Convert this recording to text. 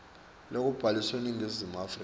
lobhaliswe eningizimu afrika